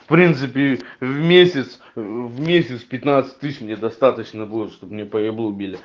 в принципе в месяц в месяц пятнадцать тысяч мне достаточно будет чтобы мне по еблу били